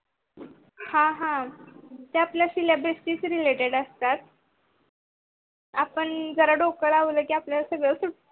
हा हा ते आपल syllabus शी related असतात. आपण जरा डोक लावल की सगळ आपल्याला,